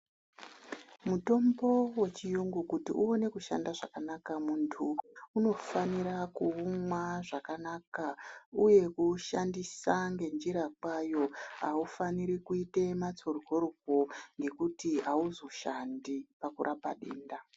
Mutombo we chiyungu kuti uone kushanda zvakanaka muntu uno fanira ku umwa zvakanaka uye ku ushandisa nge njira kwayo aufaniri kuite matsoryoryo ngekuti awuzo shandi paku rapa denda.